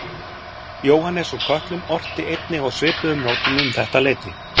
Jóhannes úr Kötlum orti einnig á svipuðum nótum um þetta leyti.